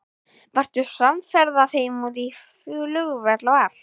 Varstu samferða þeim út á flugvöll og allt?